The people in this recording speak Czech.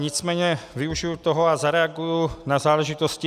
Nicméně využiji toho a zareaguji na záležitosti.